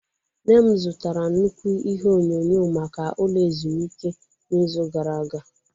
Nne m zụtara nnukwu ihe onyonyo maka ụlọ ezumike n'izu gara aga.